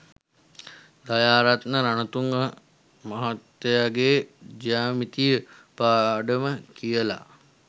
දයාරත්න රණතුංග මහත්තයගෙ ජ්‍යාමිතිය පාඩම කියල